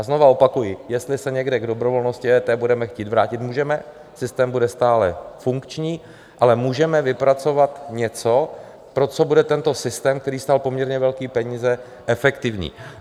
A znova opakuji, jestli se někdy k dobrovolnosti EET budeme chtít vrátit, můžeme, systém bude stále funkční, ale můžeme vypracovat něco, pro co bude tento systém, který stál poměrně velké peníze, efektivní.